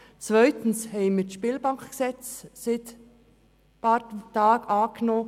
Zweitens haben wir vor ein paar Tagen das neue Spielbankengesetz angenommen.